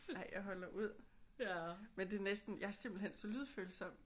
Ej jeg holder ud. Men det er næsten jeg er simpelthen så lydfølsom